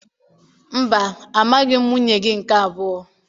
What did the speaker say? Mba, amaghị m nwunye gị nke abụọ